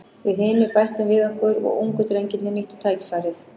Við hinir bættum við okkur og ungu drengirnir nýttu tækifærið.